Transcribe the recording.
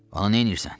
Onu neynirsən?